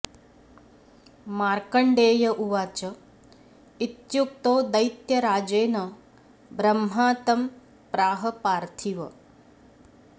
मार्कण्डेय उवाच इत्युक्तो दैत्यराजेन ब्रह्मा तं प्राह पार्थिव